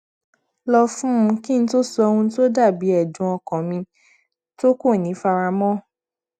lọ fún un kí n tó sọ ohun tó to da bi ẹdun ọkan mi to ko ni fara mọ